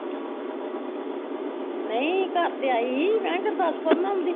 ਨਹੀਂ ਘਰ ਤੇ ਆਈ ਸੀ ਮੈਂ ਕਿਹਾਂ ਗੁਰਦਾਸਪੁਰ ਨਾ ਆਉਂਦੀ